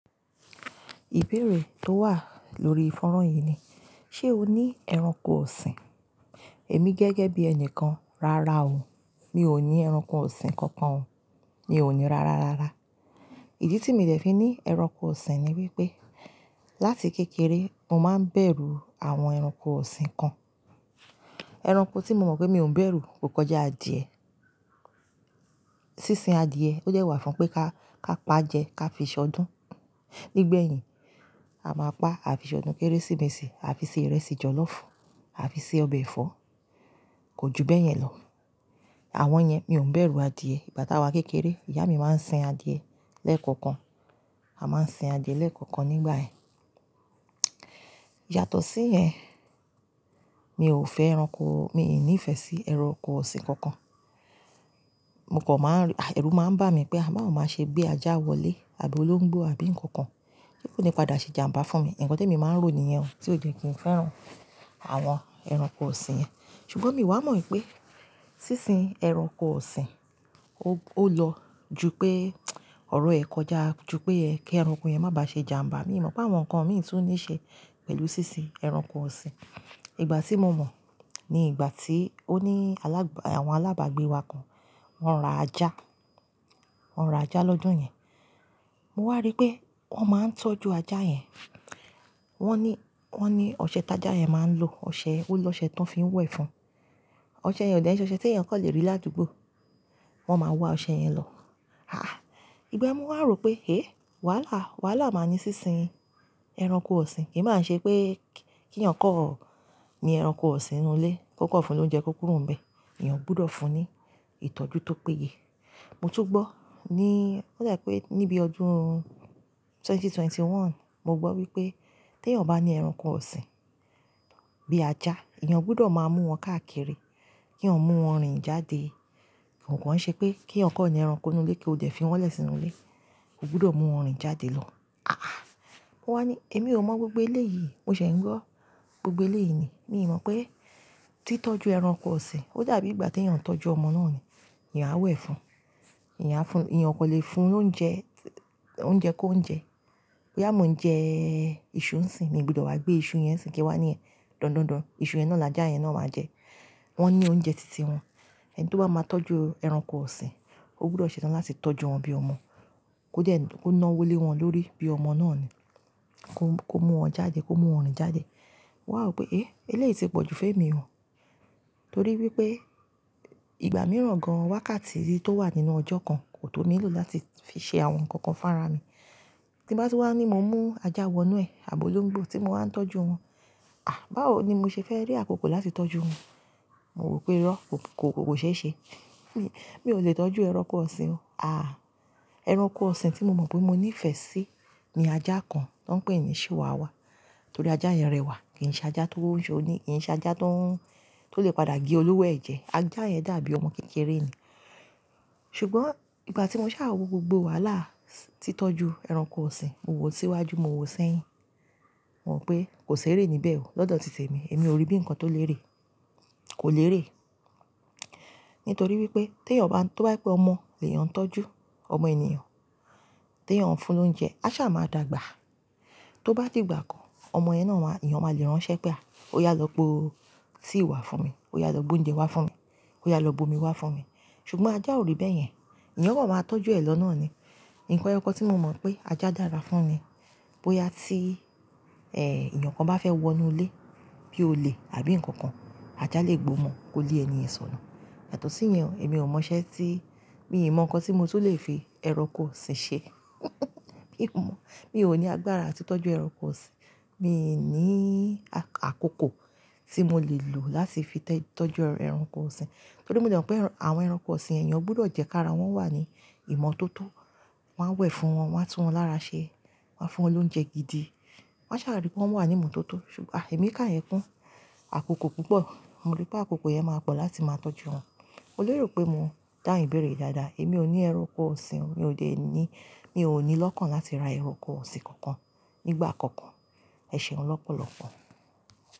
Ìbéèrè tó wà lórí foran yìí ni, ṣé o ní ẹranko ọ̀sìn? Èmi gẹ́gẹ́ bí ẹni kan, rárá o, mi ò ní ẹranko ọ̀sìn kankan o, mi ò ní rárá rárá. Ìdí tí mi n dè fi ní ẹranko ọ̀sìn ni wípé, láti kékeré mo máa ń bẹ̀rù àwọn ẹranko ọ̀sìn kan. Ẹranko tí mo mọ̀ pé mi ò ń bẹ̀rù kò kọjá adìẹ. Sínsin adìẹ ó dẹ̀ wá fún pé ká, ká pa jẹ, ká fi ṣọdún. Nígbẹ̀yìn, a máa pa, a fi ṣọdún Kérésìmesì, a fi ṣe ìrẹsì jọ̀lọ́fù, a fi ṣe ọbẹ̀ ẹ̀fọ́, kò ju bẹ́yẹn lọ. Àwọn yẹn mi ò ń bẹ̀rù adìẹ. Ìgbà táa wa n kékeré, ìyá mi máa ń sìn adìẹ lẹ́ẹ̀kọ̀kan. A máa ń sìn adìẹ lẹ́ẹ̀kọ̀okan nígbà yẹn. Yàtọ̀ sí yẹn, mi ò fẹ́ ẹranko, mi n ní ìfẹ́ sí ẹranko ọ̀sìn kankan. Mo kò máa r-- àì, ẹ̀rù máa ń bà mí pé a ba wo máa ṣe gbé ajá wọlé àbí olóńgbò àbí ǹnkan kan, se kó ni padà ṣe ijàǹbá fún mi. Ǹkan t'èmi máa ń rò nìyẹn o, tí o je kí n fẹ́ran àwọn ẹranko ọ̀sìn yẹn. Ṣùgbọ́n mi o wá mọ̀ wípé, sínsin ẹranko ọ̀sìn ó, ó lọ ju pé ọ̀rọ̀ ẹ̀ kọjá, ju pé ẹ́, kí ẹranko yẹn má ba ṣe ijàǹbá. Mii mọ̀ pé àwọn nǹkan mìí tún ní ṣe pẹ̀lú sínsin ẹranko ọ̀sìn. Ìgbà tí mo mọ̀ ni ìgbà tí ó ní alábà, àwọn alábàgbé wa kan, wọ́n ra ajá. Wọ́n ra ajá lọ́jọ́ yẹn. Mo wá rí pé wọ́n máa ń tọ́jú ajá yẹn. Wọ́n ní, wọ́n ní ọṣẹ tí ajá yẹn máa ń lo, ọṣẹ, ó lọ́ṣẹ́ tan fi ń wẹ̀ fun. Ọṣẹ yẹn ò dẹ̀ ṣoṣẹ tí èeyàn kan lè rí ládùúgbò. Wọ́n máa wá ọṣẹ yẹn lọ. Àáà. Ìgba yen mo wá rò pé, "hé, wàhálà, wàhálà máa ní sínsin ẹranko ọ̀sìn." kì í máa ṣe pé kí, kí èeyàn kan, ni ẹranko ọ̀sìn n'nú ilé. Kó kan fún ló ouńjẹ, kó kúrò n bẹ̀. Èeyàn gbọdọ̀ fún un ní ìtọ́jú tó péye. Mo tún gbọ́ ní, ó dà pé níbi ọdún ẹgbẹ̀rún méjì ó lé mọ́kànlélógún, mo gbọ́ wípé tí ènìyàn bá ní ẹranko ọ̀sìn bí ajá, èeyàn gbọdọ̀ máa mú wọn káàkiri, kí eeyan mú wọn rìn jáde. Kò kàn i ṣe pé kí eeyàn kó ni ẹranko ni inú ilé kí o dẹ̀ fi wọ́n lẹ́ sìnú ilé. Ó gbọdọ̀ mú wọn rìn jáde lọ. Àáà. Mo wá ní, èmi ò mọ gbogbo ilé yìí, mo ṣẹ̀ ń gbọ́ gbogbo eléyìí ni. Mi n mọ̀ pé tí tọ́jú ẹranko ọ̀sìn, ó dàbí ìgbà tí èeyàn ń tọ́jú ọmọ náà ni. Èeyàn á wẹ̀ fún un, èeyàn á fún, èeyàn kò lè fún lóúnjẹ, lóúnjẹ kó ń jẹ. Bí a mọ̀ ń jẹ́ ìṣù ń sìnyi, mi n gbọdọ̀ wá gbé ìṣù yẹn n sínyí, ki n wá ní ẹ̀ dọ̀ndọ́n, ìṣù yẹn náà làjà yẹn náà maa jẹ. Wọ́n ní oúnjẹ titi won. Ẹni tó bá máa tọ́jú ẹranko ọ̀sìn, ó gbọdọ̀ ṣè tan láti tọ́jú wọn bí ọmọ. Kó dẹ́, kó nawó lé wọn lórí bí ọmọ náà ni. Kó, kó mú wọn jáde, kó mú wọn rìn jáde. Mo wá rò pé, "eh, eléyìí ti pọ̀jù fún èmi o." Nítorí wípé ìgbà mìíràn gan-an wákàtí tó wà nínú ọjọ́ kan kò tó mi lò láti fi ṣe àwọn nǹkan kan fún ara mi. Tí n bá tun wá ní mo mú ajá wọ inú ilé àbí olóńgbò tí mo wá ń tọ́jú wọn, à báwo ni mo ṣe fẹ́ rí àkókò láti tọ́jú wọn? Mo rò pé irọ́ kò, kò, kò ṣe é ṣe. Mi ò lè tọ́jú ẹranko ọ̀sìn o. Àá. Ẹranko ọ̀sìn tí mo mọ̀ pé mo ní ìfẹ́ sí ni ajá kan tó ń pè ní Síwàwà. Nítorí ajá yẹn rẹwà, kì í ṣe ajá tó ń ṣe òní, kì í ṣe ajá tó ń, tó lè padà gé olówó ẹ̀jẹ̀. Ajá yẹn dàbí ọmọ kékeré ni. Ṣùgbọ́n ìgbà tí mo ṣàá wo gbogbo wàhálà titọ́jú ẹranko ọ̀sìn, mo wò síwájú, mo wò sẹ́hìn. Mo mọ̀ pé kò ṣeré níbẹ̀ o lọ́dọ̀ títẹ̀ mi. Èmi ò rí bí nǹkan tó lè ré. Kò lè ré. Nítorí wípé tèeyàn bá n, tó bá je pé ọmọ lè yan tọ́jú ọmọ ènìyàn, teeyàn ń fún lóúnjẹ, a sá máa dàgbà. Tó bá di igbà kan, ọmọ yẹn náà wá, èeyàn máa lè ránṣẹ́ pé, "à o yá lọ po tea wá fún mi, o yá lọ gbe oúnjẹ wá fún mi, o yá lọ bu omi wá fún mi." Ṣùgbọ́n ajá ò ri bẹ́yẹn. Ẹ̀eyàn kan máa tọ́jú ẹ̀ lọ náà ni. Ǹnkan eyokan tí mo mọ̀ pé ajá dára fún ni, bóyá tí, eh, èeyàn kan bá fẹ́ wọ inú ilé bí olè àbí ǹnkan kan, ajá lè gbo mọ́, kó lé ẹni ènìyàn sọnù. Yàtọ̀ sí yen o, èmi ò mọṣẹ́ tí, mi ò mọ̀ ǹnkan tí mo ti le fi ẹranko ọ̀sìn ṣe. Mi ò mọ̀. Mi ò ní agbára láti tọ́jú ẹranko ọ̀sìn. Mi n ní àkókò tí mo lè lò láti fi tẹ́, tọ́jú ẹranko ọ̀sìn. Torí mo de mọ̀ pé àwọn ẹranko ọ̀sìn yen èeyàn gbọdọ̀ jẹ́ kí ara wọn wà ní ìmọ̀tótó. Wọ́n á wẹ̀ fún wọn, wọ́n á tú wọn lára ṣe, wọ́n á fún wọn lóúnjẹ gidi. Wọ́n ṣàrà rí pé wọ́n wà ní ìmọ̀tótó. Ṣùgbọ́n à èmi káyẹn kún àkókò púpọ̀. Mo rí pé àkókò yẹn máa pọ̀ láti máa tọ́jú wọn. Mo lè rò pé mo dáhun ibéèrè yi dáadáa. Èmi ò ní ẹranko ọ̀sìn o. Mi ò dé ní, mi ò ní lọ́kàn láti ra ẹranko ọ̀sìn kankan nígbà kankan. Ẹ ṣeun lọ́pọ̀lọ́pọ̀.